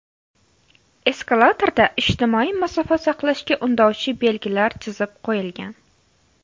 Eskalatorda ijtimoiy masofa saqlashga undovchi belgilar chizib qo‘yilgan.